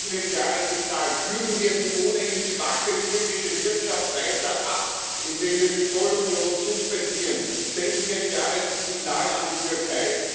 Senden wir ein klares Signal, kühlen wir die ohnehin schwache türkische Wirtschaft weiter ab, indem wir die Zollunion suspendieren, senden wir ein klares Signal an die Türkei!